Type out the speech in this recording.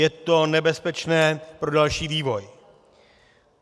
Je to nebezpečné pro další vývoj.